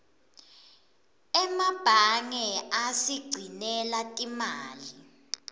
emebange asigcinela timali